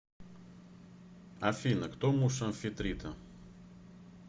афина кто муж амфитрита